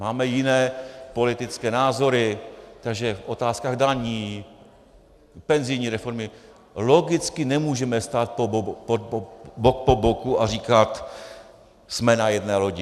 Máme jiné politické názory, takže v otázkách daní, penzijní reformy logicky nemůžeme stát bok po boku a říkat jsme na jedné lodi.